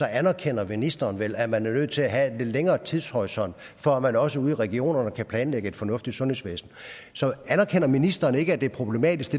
anerkender ministeren vel at man er nødt til at have en lidt længere tidshorisont for at man også ude i regionerne kan planlægge et fornuftigt sundhedsvæsen så anerkender ministeren ikke at det er problematisk